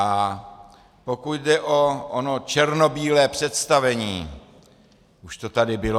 A pokud jde o ono černobílé představení, už to tady bylo.